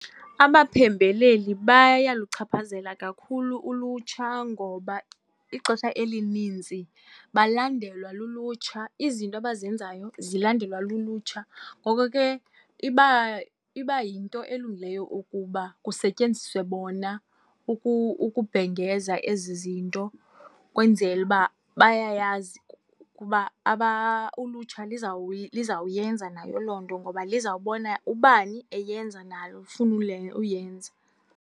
Abaphembeleli bayaluchaphazela kakhulu ulutsha ngoba ixesha elinintsi balandelwa lulutsha, izinto abazenzayo zilandelwa lulutsha. Ngoko ke iba yinto elungileyo ukuba kusetyenziswe bona ukubhengeza ezi zinto, kwenzele uba bayayazi ukuba ulutsha lizawuyenza nayo loo nto, ngoba lizawubona ubani eyenza, nalo lufune uyenza.